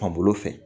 Fan bolo fɛ